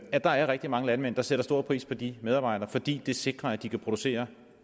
at der er rigtig mange landmænd der sætter stor pris på de medarbejdere fordi det sikrer at de kan producere